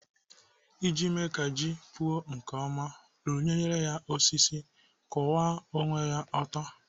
Iji mee ka ji gị puo nke ọma, rụnyere osisi kwụwa ome ya ọtọ.